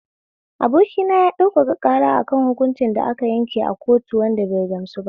Abokina ya ɗaukaka ƙara akan hukunci da aka yanke a kotu wanda bai gamsuba